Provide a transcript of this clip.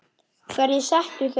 Hverjir settu þau?